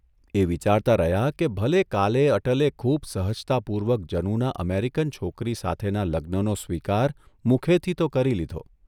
એ વિચારતા રહ્યા કે ભલે કાલે અટલે ખૂબ સહજતાપૂર્વક જનુના અમેરિકન છોકરી સાથેના લગ્નનો સ્વીકાર મુખેથી તો કરી લીધો.